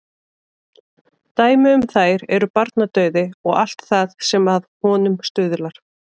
Dæmi um þær er barnadauði og allt það sem að honum stuðlar.